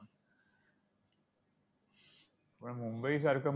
पण मुंबईसारखं.